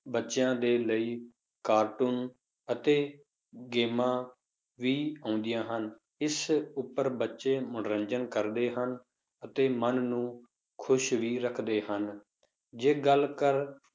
ਬੱਚਿਆਂ ਦੇ ਲਈ cartoon ਅਤੇ ਗੇਮਾਂ ਵੀ ਆਉਂਦੀਆਂ ਹਨ, ਇਸ ਉੱਪਰ ਬੱਚੇ ਮਨੋਰੰਜਨ ਕਰਦੇ ਹਨ ਅਤੇ ਮਨ ਨੂੰ ਖ਼ੁਸ਼ ਵੀ ਰੱਖਦੇ ਹਨ, ਜੇ ਗੱਲ ਕਰ